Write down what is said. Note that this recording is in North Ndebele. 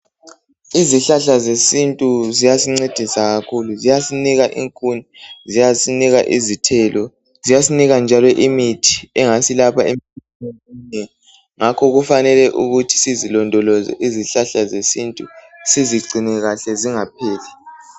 Izihlahla zesintu ziyasincedisa kumbe ziyasinika inkuni, ziyasinika izithelo. Ziyasinika njalo imithi engaselapha emikhuhlaneni eminengi ngakho kufanele ukuthi sizilondoloze izihlahla zesintu sizigcine kahle zingapheli.